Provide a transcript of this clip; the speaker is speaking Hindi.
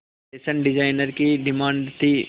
फैशन डिजाइनर की डिमांड थी